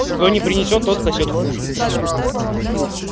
кто не принесёт сосёт хуй